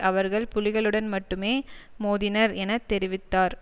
அவர்கள் புலிகளுடன் மட்டுமே மோதினர் என தெரிவித்தார்